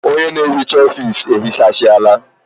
Ọnye na ehicha ofisi ehichasiala